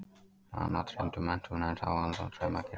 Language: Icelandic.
Hana dreymdi um menntun en sá þann draum ekki rætast.